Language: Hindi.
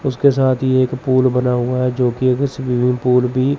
उसके साथ ये एक पूल बना हुआ है जोकि एक स्विमिंग पूल भी--